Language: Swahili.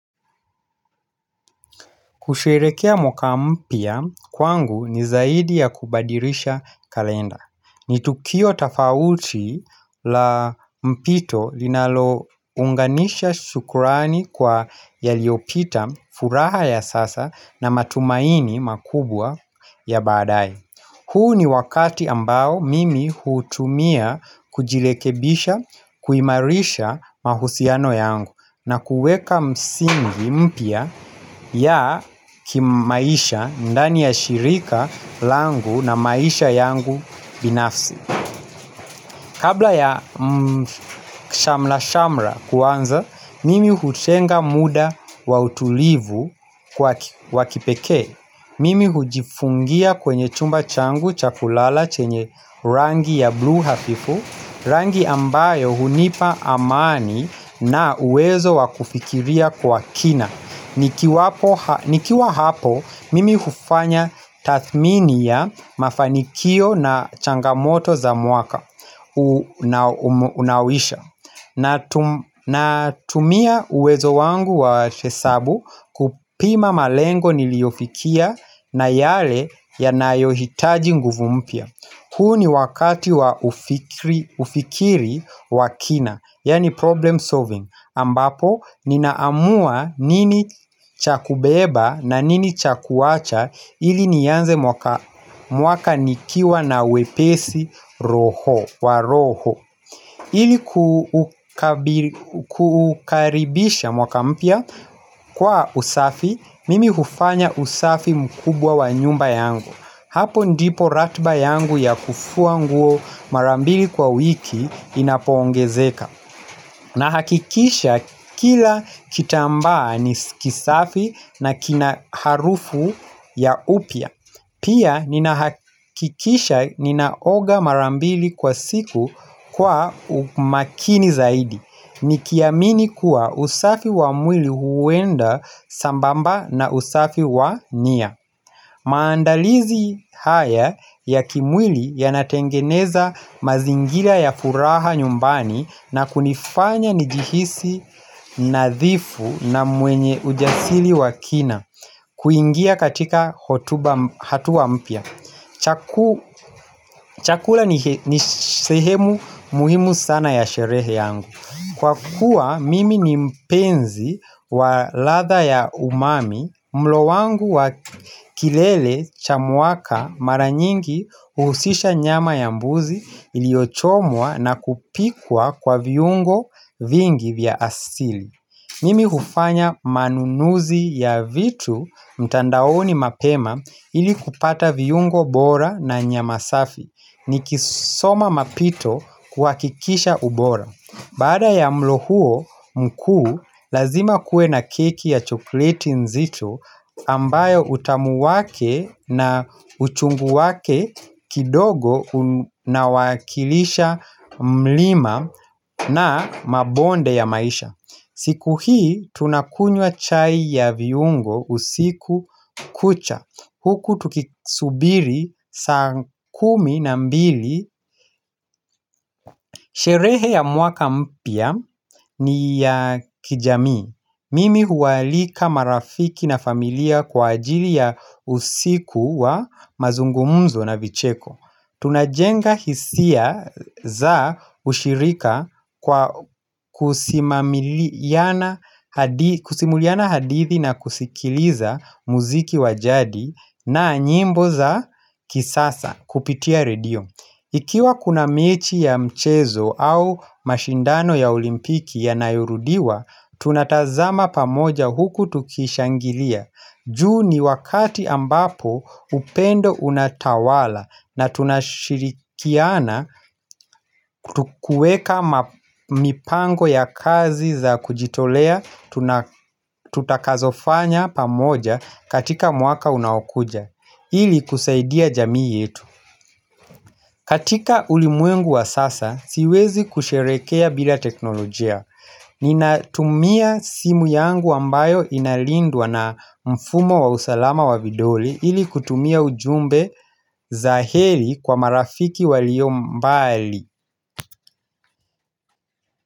Kusherehekea mwaka mpya kwangu ni zaidi ya kubadirisha kalenda. Ni tukio tofauti la mpito linalounganisha shukrani kwa yaliopita furaha ya sasa na matumaini makubwa ya baadae. Huu ni wakati ambao mimi uhutumia kujilekebisha kuimarisha mahusiano yangu na kuweka misingi mpya ya kimaisha ndani ya shirika langu na maisha yangu binafsi. Kabla ya shamla-shamla kuanza, mimi hutenga muda wa utulivu kwa kipeke. Mimi hujifungia kwenye chumba changu cha kulala chenye rangi ya bluu hafifu, rangi ambayo hunipa amani na uwezo wakufikiria kwa kina. Nikiwa hapo, mimi hufanya tathmini ya mafanikio na changamoto za mwaka. Natumia uwezo wangu wa hesabu kupima malengo niliofikia na yale yanayohitaji nguvu mpya. Huu ni wakati wa ufikiri wakina, yaani problem solving ambapo ninaamua nini chakubeba na nini chakuacha ili nianze mwaka nikiwa na wepesi roho ili kukaribisha mwaka mpya kwa usafi, mimi hufanya usafi mkubwa wa nyumba yangu Hapo ndipo ratiba yangu ya kufua nguo mara mbili kwa wiki inapongezeka Nahakikisha kila kitambaa nikisafi na kina harufu ya upya Pia nina hakikisha ninaoga mara mbili kwa siku kwa umakini zaidi Nikiamini kuwa usafi wa mwili huenda sambamba na usafi wa nia maandalizi haya ya kimwili yanatengeneza mazingira ya furaha nyumbani na kunifanya nijihisi nadhifu na mwenye ujasiri wa kina kuingia katika hatua mpya Chakula ni sehemu muhimu sana ya sherehe yangu Kwa kuwa mimi ni mpenzi wa ladha ya umami mlo wangu wa kilele cha mwaka mara nyingi uhusisha nyama ya mbuzi iliochomwa na kupikwa kwa viungo vingi vya asili Nimi hufanya manunuzi ya vitu mtandaoni mapema ili kupata viyungo bora na nyama safi ni kisoma mapito kuhakikisha ubora. Bada ya mlo huo mkuu lazima kuwe na keki ya chokoleti nzito ambayo utamu wake na uchungu wake kidogo na wakilisha mlima na mabonde ya maisha. Siku hii tunakunywa chai ya viungo usiku kucha. Huku tukisubiri saa kumi na mbili. Sherehe ya mwaka mpya ni ya kijamii. Mimi huaalika marafiki na familia kwa ajili ya usiku wa mazungumuzo na vicheko. Tunajenga hisia za ushirika kwa kusimuliana hadithi na kusikiliza muziki wajadi na nyimbo za kisasa kupitia radio. Ikiwa kuna mechi ya mchezo au mashindano ya olimpiki yanayorudiwa, tunatazama pamoja huku tukishangilia. Ju ni wakati ambapo upendo unatawala na tunashirikiana kuweka mipango ya kazi za kujitolea tutakazofanya pamoja katika mwaka unaokuja, ili kusaidia jamii yetu. Katika ulimwengu wa sasa, siwezi kusherehekea bila teknolojia. Ninatumia simu yangu ambayo inalindwa na mfumo wa usalama wa vidole ili kutumia ujumbe za heli kwa marafiki walio mbali.